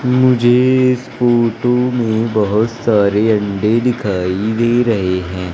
मुझे इस फोटो में बहुत सारे अंडे दिखाई दे रहे हैं।